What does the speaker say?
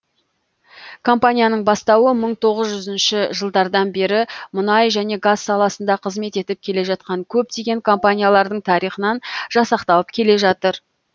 компанияның бастауы мың тоғыз жүзінші жылдардан бері мұнай және газ саласында қызмет етіп келе жатқан көптеген компаниялардың тарихынан жасақталып келе жатыр